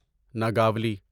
Nagavali